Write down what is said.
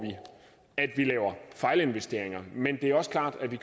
at lave fejlinvesteringer men det er også klart at vi